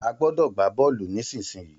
A gbọ́dọ̀ gbá Bọ́ọ́lù nísinsìnyí